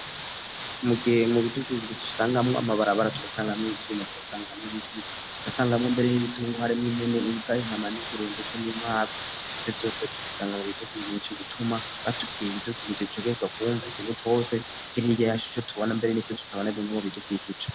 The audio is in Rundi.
Mugihe mu bidukizi tusangamwo amabarabara tugasangamwo ivyuma tugasangamwo ibiti tugasangamwo mbere n'ibitungwa harimwo impene, imbwa, intama n'ingurube ndetse n'inkwavu ivyo vyose tubisanga mu bidukikije nico gituma batubwiye ibidukikije utegerezwa kumva ikintu cose kiri hirya yacu ico tubona mbere nivyo tutabona birimwo mu bidukikije.